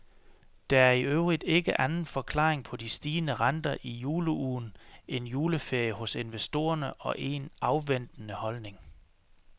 Der er i øvrigt ikke anden forklaring på de stigende renter i juleugen end juleferie hos investorerne og en afventende holdning.